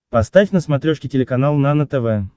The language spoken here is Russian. поставь на смотрешке телеканал нано тв